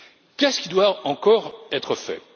Qu'est ce qui doit encore être fait?